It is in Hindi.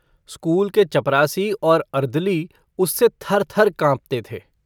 स्कूल के चपरासी और अर्दली उससे थर-थर काँपते थे।